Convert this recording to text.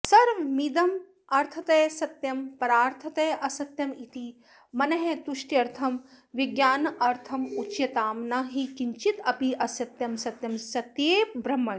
सर्वमिदमर्थतः सत्यं परार्थतः असत्यमिति मनस्तुष्ट्यर्थं विज्ञानार्थमुच्यतां न हि किञ्चिदप्यसत्यं सत्ये ब्रह्मणि